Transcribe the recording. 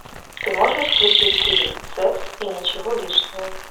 ты можешь включить фильм секс и ничего лишнего